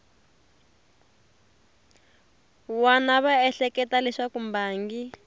wana va ehleketa leswaku mbangi